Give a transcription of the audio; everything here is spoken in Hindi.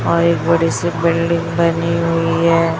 और एक बड़ी सी बिल्डिंग बनी हुई है।